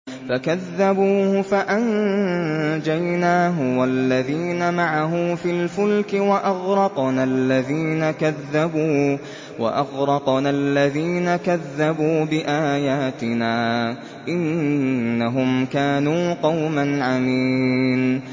فَكَذَّبُوهُ فَأَنجَيْنَاهُ وَالَّذِينَ مَعَهُ فِي الْفُلْكِ وَأَغْرَقْنَا الَّذِينَ كَذَّبُوا بِآيَاتِنَا ۚ إِنَّهُمْ كَانُوا قَوْمًا عَمِينَ